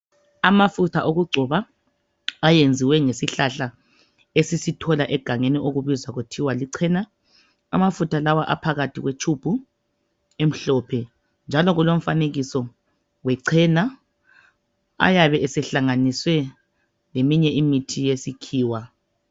Amafutha okugcoba ayenziwe ngesihlahla esisithola egangeni kokubizwa kuthiwa lichena. Amafutha lawa aphakathi tshubu emhlophe njalo kulomfanekiso wechena. Ayabe esehlanganiswe leminye imithi yesikhiwa.